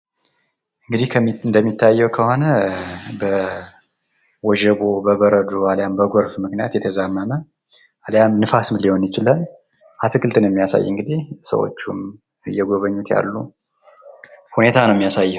እንግዲህ እንደሚታየው ከሆነ በወጀብ ውይም በበረዶ ምክንያት የተዛመመ አልያም ንፋስም ሊሆን ይችላል። አትክልትን የሚያሳይ እንግዲህ ሰዎቹ እየገቦኙት ያሉ ሁኔታ ነው የሚያሳየው።